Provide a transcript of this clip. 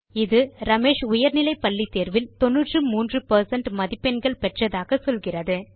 இது ரமேஷ் உயர்நிலை பள்ளி தேர்வில் 93 பெர்சென்ட் மதிப்பெண்கள் பெற்றதாக சொல்கிறது